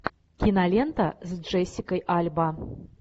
кинолента с джессикой альба